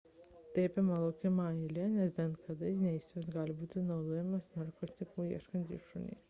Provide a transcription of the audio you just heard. tai apima laukimą eilėje nes bet kada neįspėjus gali būti naudojami narkotikų ieškantys šunys